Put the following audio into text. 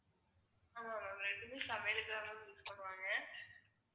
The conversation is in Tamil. ஆமா ma'am ரெண்டுமே சமையலுக்கு தான் ma'am use பண்ணுவாங்க.